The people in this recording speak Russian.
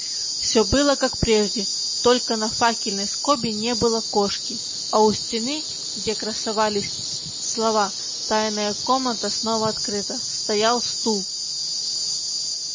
всё было как прежде только на факельной скобе не было кошки а у стены где красовались слова тайная комната снова открыта стоял стул